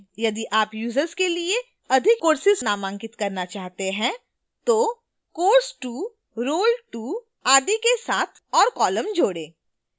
यदि आप users के लिए अधिक courses नामांकित करना चाहते हैं तो course2 role2 आदि के साथ और columns जोड़ें